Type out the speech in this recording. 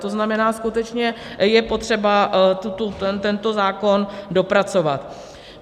To znamená, skutečně je potřeba tento zákon dopracovat.